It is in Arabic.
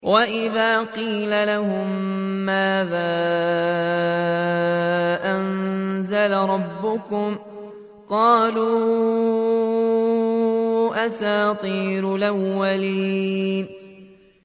وَإِذَا قِيلَ لَهُم مَّاذَا أَنزَلَ رَبُّكُمْ ۙ قَالُوا أَسَاطِيرُ الْأَوَّلِينَ